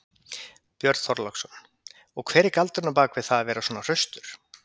Björn Þorláksson: Og hver er galdurinn á bak við það að vera svona hraustur?